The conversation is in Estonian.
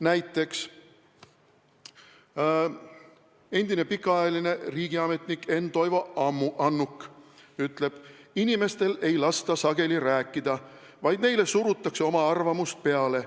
Näiteks on endine pikaajaline riigiametnik Enn-Toivo Annuk öelnud: "Inimestel ei lasta sageli rääkida, vaid neile surutakse oma arvamust peale.